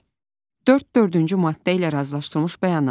Beş, dörd dördüncü maddə ilə razılaşdırılmış bəyanat.